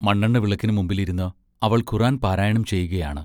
മണ്ണെണ്ണ വിളക്കിന് മുമ്പിൽ ഇരുന്ന് അവൾ ഖുർ-ആൻ പാരായണം ചെയ്യുകയാണ്.